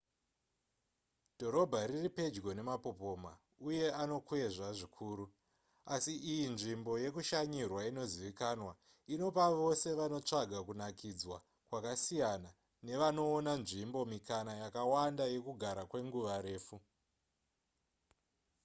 dhorobha riri pedyo nemapopoma uye anokwezva zvikuru asi iyi nzvimbo yekushanyirwa inozivikanwa inopa vose vanotsvaka kunakidzwa kwakasiyana nevanoona nzvimbo mikana yakawanda yekugara kwengura refu